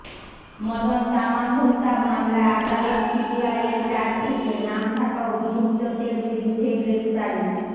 মদন তামাঙ্গ হত্যা মামলায় আদালত সিবিআইয়ের চার্জশিটে নাম থাকা অভিযুক্তদের বিরুদ্ধে গ্রেফতারি